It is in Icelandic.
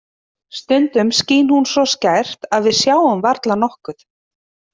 Stundum skín hún svo skært að við sjáum varla nokkuð.